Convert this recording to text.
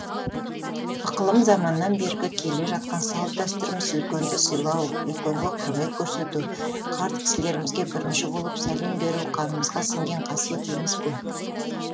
ықылым заманнан бергі келе жатқан салт дәстүріміз үлкенді сыйлау үлкенге құрмет көрсету қарт кісілерімізге бірінші болып сәлем беру қанымызға сіңген қасиет емес пе